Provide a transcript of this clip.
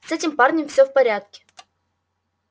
с этим парнем всё в порядке